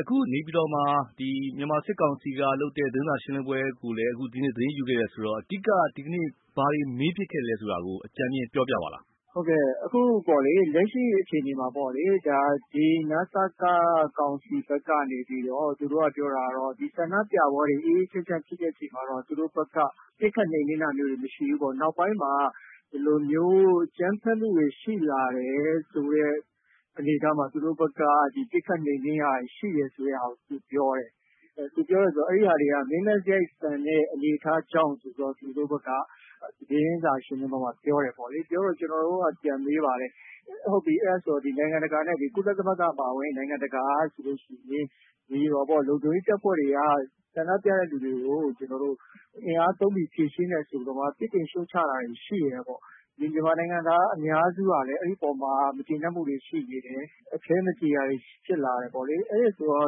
အခုနေပြည်တော်မှာ မြန်မာစစ်ကောင်စီက လုပ်တဲ့ သတင်းစာရှင်းလင်းပွဲကို အခုဒီနေ့ သတင်းယူခဲ့တယ်ဆိုတော့ အဓိကက ဘာတွေမေးဖြစ်ခဲ့သလဲဆိုတာကို အကြမ်ဖျဉ်း ပြောပြပါလား။ အခု လက်ရှိအခြေအနေမှာပေါ့လေ... ဒီ န.စ.က ကောင်စီဘက်ကနေပြီးတော့ သူတို့ ပြောတာကတော့ ဒီဆန္ဒပြပွဲတွေ အေးအေးချမ်းချမ်းဖြစ်တဲ့အချိန်မှာတော့ သူတို့ဘက်က ပစ်ခတ်နှိမ်နင်းတာမျိုးတွေ မရှိဘူးပေါ့။ နောက်ပိုင်းမှာ ဒီလိုမျိုးအကြမ်းဖက်မှုတွေ ရှိလာတယ်ဆိုတဲ့ အနေအထားမှာ သူတို့ဘက်က ပစ်ခတ်နှိမ်နင်းတာတွေရှိတယ်ဆိုတဲ့ဟာကို ပြောတယ်။ အဲဒီဟာတွေက မင်းမဲ့စရိုက်ဆန်တဲ့အနေအထားကြောင့်ဆိုပြီးတော့ သူတို့ဘက်က သတင်းစာ ရှင်းလင်းပွဲမှာ ပြောတယ်ပေါ့လေ။ ပြောတော့ ကျနော်တို့က ပြန်မေးပါတယ်။ အဲဒါဆိုရင် ကုလသမဂ္ဂနဲ့ နိုင်ငံတကာက ဒီလုံခြုံရေးတပ်ဖွဲ့တွေက ဆန္ဒပြသူတွေကို အင်အားသုံးပြီး ဖြေရှင်းတယ်ဆိုတော့ ပြစ်တင် ရှုတ်ချတာတွေရှိတယ်ပေါ့။ ဒီ မြန်မာနိုင်ငံသားအများစုကလည်း အဲဒီပေါ်မှာ မကျေနပ်မှုတွေ ရှိနေတယ်။ အခဲမကြေတာတွေ ဖြစ်လာတယ်ပေါ့လေ။ အဲဒီအပေါ်မှာ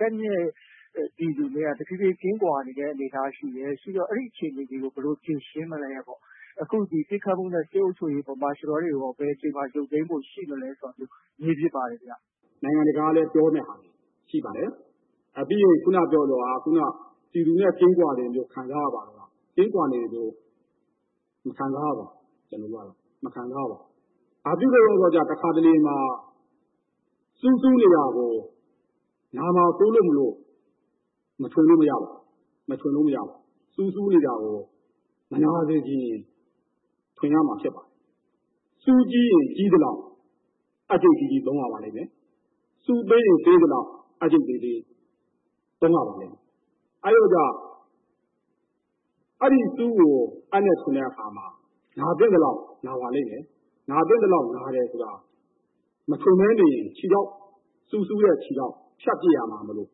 တပ်နဲ့ ပြည်သူနဲ့က တဖြည်းဖြည်း ကင်းကွာလာတဲ့အနေအထားရှိတယ်။ ရှိတော့ အဲဒီအခြေအနေကို ဘယ်လို ဖြေရှင်းမလဲပေါ့။ အခု ပစ်ခတ်မှုနဲ့ စစ်အုပ်ချုပ်ရေးကိုရော၊ martial law တွေကိုရော ဘယ်အချိန်မှာ ရုပ်သိမ်းဖို့ ရှိမလဲဆိုတာမျိုး မေးဖြစ်ပါတယ် ခင်ဗျ။ နိုင်ငံတကာကလည်း ပြောတဲ့ဟာတွေရှိပါတယ်။ ပြီးတော့ ခုဏက ပြောသလို ပြည်သူနဲ့ ကင်းကွာတယ်လို့ ခံစားရပါသလား။ ကင်းကွာနေတယ်လို့ မခံစားရပါဘူး ကျနော်တို့ကတော့။ မခံစားရပါဘူး။ ဘာဖြစ်လို့လဲဆိုတော့ တခါတလေမှာ ဆူးစူးနေတာကို နာမှာစိုးလို့မို့လို့ မထွင်လို့မရပါဘူး။ ဆူးစူးနေတာကို မနာစေချင်ရင် ထွင်ရမှာ ဖြစ်ပါတယ်။ ဆူးကြီးရင် ကြီးသလောက် အပ်ချိတ်ကြီးကြီး သုံးရပါလိမ့်မယ်။ ဆူးသေးရင် သေးသလောက် အပ်ချိတ်သေးသေးသုံးရပါလိမ့်မယ်။ အဲ့ဒီလိုကြောင့် အဲဒီဆူးကို အပ်နဲ့ ထွင်တဲ့အခါမှာ နာသင့်သလောက်နာပါလိမ့်မယ်။ နာသင့်သလောက်နာမယ်ဆိုတာ မထွင်ဘဲနေရင် ခြေထောက်၊ ဆူးစူးတဲ့ ခြေထောက် ဖြတ်ပစ်ရမှာမို့လို့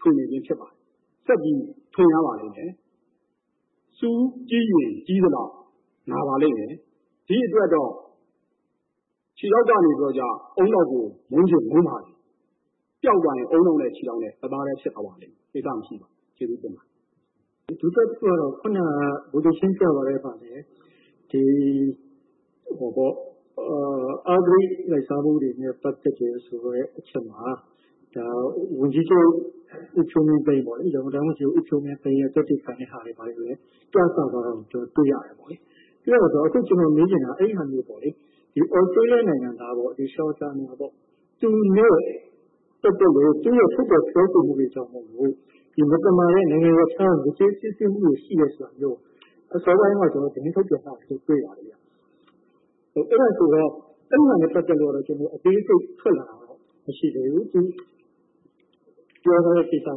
ထွင်နေခြင်းဖြစ်ပါတယ်။ ဆက်ပြီးထွင်ရပါလိမ့်မယ်။ ဆူးကြီးရင်ကြီးသလောက် နာပါလိမ့်မယ်။ ဒီအတွက်တော့ ခြေထောက်ကနေ ဦးနှောက်ကနေ မုန်းချင်မုန်းပါမယ်။ ပျောက်သွားရင် ဦးနှောက်နဲ့ ခြေထောက် တသားတည်း ဖြစ်သွားပါလိမ့်မယ်။ ကိစ္စမရှိပါဘူး။ ကျေးဇူးတင်ပါတယ်။ ဒုတိယတခုကတော့ ခုဏ ဗိုလ်ချုပ်ရှင်းပြသွားပါတယ်။ အဂတိလိုက်စားမှုတွေနဲ့ ပတ်သက်တယ်ဆိုတဲ့အချက်မှာ ရန်ကုန်တိုင်း ဝန်ကြီးချုပ် ဦးဖြိုးမင်းသိန်းရဲ့ သက်သေခံတဲ့ဟာတွေကိုလည်း ပြသသွားတာကို ကျနော်တို့ တွေ့ရတယ်ပေါ့လေ။ ဆိုတော့ ကျနော် မေးချင်တာ အဲဒီဟာမျိုးပေါ့ ဒီ သြစတြေးလျနိုင်ငံသား Sean Turnell ပေါ့... သူနဲ့ပတ်သက်လို့ သူရဲ့ ထုတ်ဖော်စွဲဆိုမှုတွေကြောင့်မို့လို့ ဒီမသမာတဲ့ နိုင်ငံရပ်ခြားက ယိုယွင်းစီးဆင်းမှုတွေရှိတယ်ဆိုတာမျိုး အစောပိုင်းတုန်းက သတင်းထုတ်ပြန်ထားတာတွေ့ရတယ်။ အဲဒါနဲ့ ပတ်သက်လို့ အသေးစိတ် ထွက်လာတာမျိုးမရှိသေးဘူး။ ဒီပြောထားတဲ့ ကိစ္စတွေ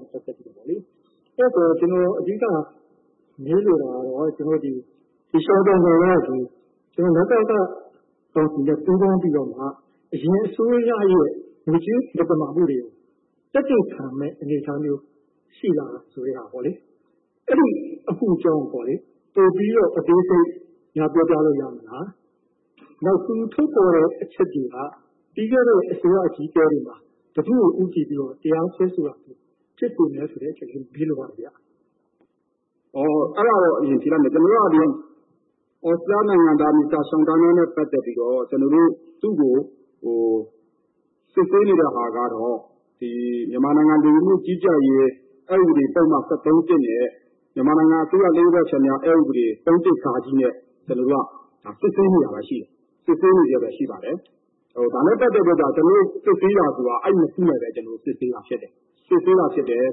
နဲ့ ပတ်သင်ပြီးတော့ပေါ့လေ။ အဲဒီတော့ ကျနော်အဓိက မေးလိုတာကတော့ Sean Turnell က ဒီ န.စ.က ကောင်စီနဲ့ ပူးပေါင်းပြီးတော့မှ အရင်အစိုးရရဲ့ ငွေကြေးမသမာမှုတွေ သက်သေခံမယ့် အနေအထားမျိုး ရှိလားဆိုတဲ့ဟာပေါ့လေ။ အဲဒီအမှုအကြောင်းကို ပိုပြီးတော့ အသေးစိတ် ပြောပြလို့ ရမလား။ နောက် သူထုတ်ဖော်တဲ့အချက်တွေက ပြီးခဲ့တဲ့ အစိုးရအကြီးအကဲတွေမှာ ဘယ်သူ့ကို ဦးတည်ပြီး တရားစွဲဆိုတာမျိုး ဖြစ်စေသလဲဆိုတဲ့အချက်လေး မေးလိုပါတယ်ခင်ဗျ။ အဲဒါကတော့ အရင် ဖြေလိုက်မယ်။ ကျနော်တို့က သြစတြေးလျနိုင်ငံသား Mr Sean Turnell နဲ့ ပတ်သက်ပြီးတော့ သူ့ကို စစ်ဆေးနေတဲ့ဟာကတော့ မြန်မာနိုင်ငံလူဝန်မှုကြီးကြပ်ရေး အက် ဥပဒေပုဒ်မ ၁၃ နဲ့ မြန်မာနိုင်ငံအစိုးရ လျှို့ဝှက်ချက်များ အက် ဥပဒေ ၃/၁ ဃ နဲ့ ကျနော်တို့ စစ်ဆေးနေတာ ရှိပါတယ်။ ဒါနဲ့ ပတ်သက်ပြီးတော့ ကျနော်တို့ စစ်ဆေးတာက အဲ့နှစ်ခုနဲ့ ပတ်သက်ပြီးတော့ပဲ စစ်ဆေးတာ ဖြစ်တယ်။ ခုဏပြောတဲ့ သူရဲ့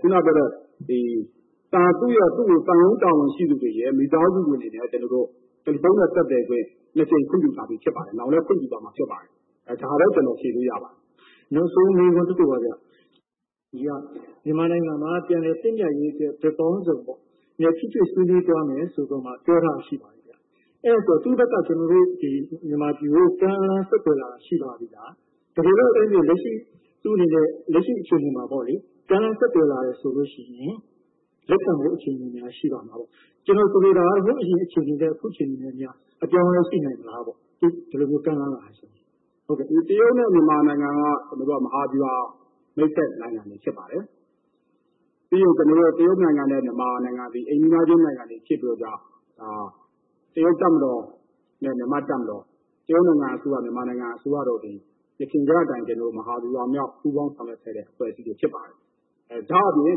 သံရုံးတာဝန်ရှိသူတွေရယ်၊ မိသားစုဝင်တွေနဲ့ ကျနော်တို့ တယ်လီဖုန်းနဲ့ ဆက်သွယ်ခွင့် နှစ်ကြိမ် ခွင့်ပြုထားပြီးသားဖြစ်ပါတယ်။ နောင်လည်း ခွင့်ပြုသွားမှာ ဖြစ်ပါတယ်။ ဒါပဲ ကျနော် ဖြေလို့ရပါမယ်။ နောက်ဆုံးမေးခွန်းတခုပါဗျ။ မြန်မာနိုင်ငံမှာ ပြန်လည် သင့်မြတ်ရေးအတွက် ဘက်ပေါင်းစုံပေါ့... ထိတွေ့ဆွေးနွေးသွားမယ်လို့ ပြောထားတာ ရှိပါတယ်။ အဲဒီတော့ တရုတ်ဘက်က မြန်မာပြည်ကို ကမ်းလှမ်းဆက်သွယ်တာတွေ ရှိပါသေးလား။ တကယ်လို့ သူ့အနေနဲ့ လက်ရှိအခြေအနေမှာပေါ့လေ... ကမ်းလှမ်းဆက်သွယ်လာရင် လက်ခံဖို့ အခြေအနေများ ရှိပါသလား။ ကျနော်ဆိုလိုတာက ဟိုးအရင်အခြေအနေနဲ့ အခုအခြေအနေနဲ့များ အပြောင်းအလဲ ရှိနိုင်မလားပေါ့... အခု ဒီလိုမျိုးကမ်းလှမ်းလာတယ်ဆိုရင်။ တရုတ်နဲ့ မြန်မာနိုင်ငံနဲ့က မဟာဗျူဟာမိတ်ဖက်နိုင်ငံတွေဖြစ်ပါတယ်။ ပြီးရင် တရုတ်နိုင်ငံနဲ့ မြန်မာနိုင်ငံသည် အိမ်နီးနားချင်းနိုင်ငံတွေ ဖြစ်တဲ့အတွက်ကြောင့် တရုတ်တပ်မတော်နဲ့ မြန်မာ့တပ်မတော်၊ တရုတ်နိုင်ငံအစိုးရ၊ မြန်မာနိုင်ငံအစိုးရတို့သည် ယခင်ကအတိုင်း မြန်မာဗျူဟာမြောက် ပူးပေါင်းဆောင်ရွက်ခဲ့တဲ့အဖွဲ့အစည်းတွေ ဖြစ်ပါတယ်။ ဒါ့အပြင်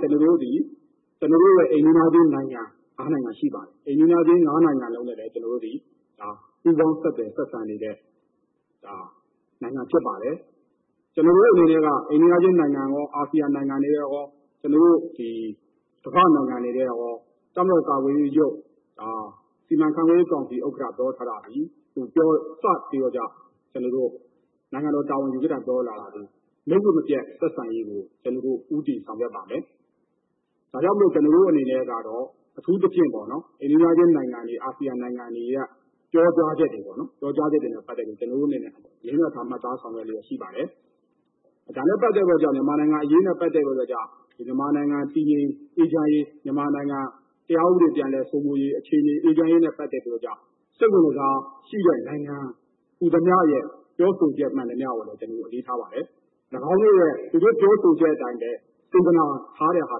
ကျနော်တို့ရဲ့ အိမ်နီးနားချင်းနိုင်ငံ ၅ နိုင်ငံရှိပါတယ်။ အိမ်နီးနားချင်း ၅ နိုင်ငံလုံးနဲ့လည်း ကျနော်တို့သည် ပူးပေါင်းဆက်သွယ်ဆက်ဆံနေတဲ့ နိုင်ငံဖြစ်ပါတယ်။ ကျနော်တို့အနေနဲ့က အိမ်နီးနားချင်းနိုင်ငံရော၊ အာဆီယံနိုင်ငံနဲ့ရော၊ ကမ္ဘာ့နိုင်ငံတွေနဲ့ရော တပ်မတော်ကာကွယ်ရေးဦးစီးချုပ် စီမံခန့်ခွဲရေးကောင်စီဥက္ကဋ္ဌ ပြောထားတာသည် လက်ရည်မပျက် ဆက်ဆံရေးကို ကျနော်တို့ ဦးတည်ဆောင်ရွက်ပါမယ်။ ဒါကြောင့်မို့လို့ ကျနော်တို့အနေနဲ့ကတော့ အထူးသဖြင့်ပေါ့နော်... အိမ်နီးနားချင်းနိုင်ငံတွေ၊ အာဆီယံနိုင်ငံတွေက ပြောကြားချက်တွေနဲ့ ပတ်သက်ပြီးတော့ ကျနော်တို့အနေနဲ့လည်း အလေးအနက်ထား မှတ်သားဆောင်ရွက်လျက်ရှိပါတယ်။ မြန်မာနိုင်ငံအရေးနဲ့ ပတ်သက်ပြီးတော့ မြန်မာနိုင်ငံတည်ငြိမ်အေးချမ်းရေး၊ မြန်မာနိုင်ငံတရားဥပဒေပြန်လည်စိုးမိုးရေး၊ အခြေအနေ အေးချမ်းရေးနဲ့ ပတ်သက်ပြီးတော့ စိတ်ဝင်တစားရှိတဲ့နိုင်ငံဟူသမျှရဲ့ ပြောဆိုချက်မှန်သမျှကိုလည်း ကျနော်တို့ အလေးထားပါတယ်။ ၎င်းတို့ရဲ့ သူတို့ပြောဆိုချက်အတိုင်းပဲ စေတနာထားတဲ့ဟာ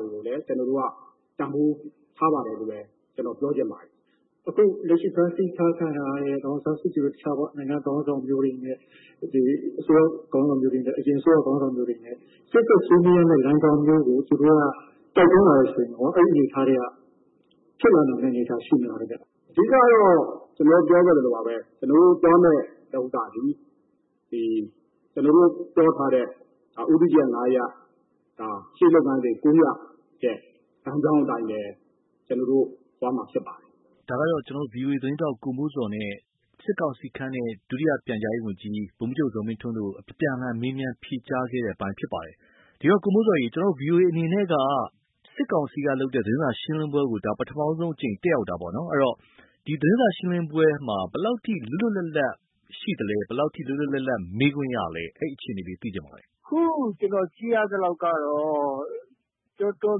တွေကိုလည်း ကျနော်တို့က တန်ဖိုးထားပါတယ်လို့ပဲ ကျနော်ပြောချင်ပါတယ်။ အခုလက်ရှိ ဖမ်းဆီးထားခံရတဲ့ ဒေါ်အောင်ဆန်းစုကြည်တို့၊ တခြားသော နိုင်ငံခေါင်းဆောင်မျိုးတွေ၊ အစိုးရခေါင်းဆောင်မျိုးတွေ၊ အရင်အစိုးရခေါင်းဆောင်မျိုးတွေနဲ့ ရှေ့ဆက်ဆွေးနွေးရမယ့်လမ်းကြောင်းမျိုးကို သူတို့က တိုက်တွန်းလာမယ်ဆိုရင်ရော... အဲဒီအနေအထားတွေက ဖြစ်လာနိုင်မယ့်အနေအထားရှိမလားခင်ဗျ။ အဓိကကတော့ ကျနော်တို့ ပြောခဲ့သလိုပါပဲ။ ကျနော်တို့သွားမယ့်၊ ကျနော်တို့ ပြောထားတဲ့ ဦးတည်ချက် ၅ ရပ်၊ ရှေ့ လုပ်ငန်းစဉ် ၉ ရပ်ရဲ့ လမ်းကြောင်းအတိုင်းပဲ ကျနော်တို့သွားမှာ ဖြစ်ပါတယ်။ ဒါကတော့ ဗွီအိုအေသတင်းထောက် ကိုမိုးဇော်နဲ့ စစ်ကောင်စီခန့်တဲ့ ဒုတိယ ပြန်ကြားရေးဝန်ကြီး ဗိုလ်မှူးချုပ် ဇော်မင်းထွန်းတို့အပြန်အလှန်မေးမြန်း ဖြေကြားခဲ့တဲ့အပိုင်း ဖြစ်ပါတယ်။ ဒီတော့ ကိုမိုးဇော်ရေ ဗွီအိုအေအနေနဲ့က စစ်ကောင်စီကလုပ်တဲ့ သတင်းစာရှင်းလင်းပွဲကို ဒါ ပထမဦးဆုံးအကြိမ်တက်ရောက်တာပေါ့နော်။ အဲဒီတော့ ဒီသတင်းစာရှင်းလင်းပွဲမှာ ဘယ်လောက်ထိ လွတ်လွတ်လပ်လပ်ရှိသလဲ၊ ဘယ်လောက်ထိ လွတ်လွတ်လပ်လပ် မေးခွင့်ရသလဲ။ အဲဒီအခြေအနေလေး သိချင်ပါတယ်။ အခုကျနော်ကြည့်ရသလောက်တော့ တော်တော်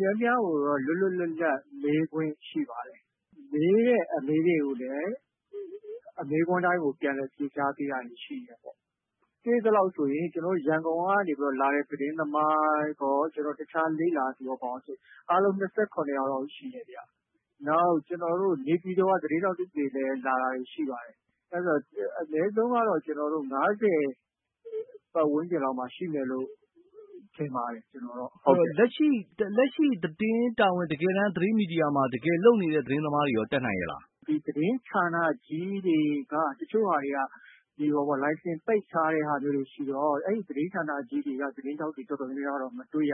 များများကိုတော့ လွတ်လွတ်လပ်လပ်မေးခွင့် ရှိပါတယ်။ မေးတဲ့အမေးတွေကိုလည်း မေးခွန်းတိုင်းကို ပြန်လည်ဖြေကြားပေးတာတွေရှိတယ်ပေါ့။ တွေ့သလောက်ဆိုရင် ကျနော်တို့ ရန်ကုန်ကနေ လာတဲ့သတင်းသမားရော၊ တခြားလေ့လာသူရော၊ ဘာရောဆိုရင် အားလုံး ၂၇ ယောက်လောက် ရှိတယ်ဗျ။ နောက်နေပြည်တော်က သတင်းထောက်တွေလည်း လာတာတွေရှိပါတယ်။ အဲဒီတော့ အနည်းဆုံးကတော့ ၅၀ ပတ်ဝန်းကျင်လောက်မှာရှိမယ်လို့ ထင်ပါတယ်။ လက်ရှိ တကယ်တမ်း သတင်းမီဒီယာမှာ တကယ်လုပ်နေတဲ့ သတင်းသမားတွေရော တက်နိုင်ရဲ့လား။ သတင်းဌာနကြီးတွေက တချို့ဟာတွေက လိုင်စင်ပိတ်ထားတဲ့ဟာမျိုးတွေရှိတော့ အဲဒီသတင်းဌာနတော်တော်များများကတော့ မတွေ့ရ